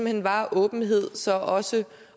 hen var åbenhed så også